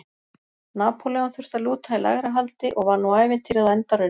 Napóleon þurfti að lúta í lægra haldi og var nú ævintýrið á enda runnið.